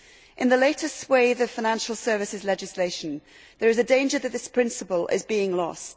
In the latest wave of financial services legislation, there is a danger that this principle is being lost.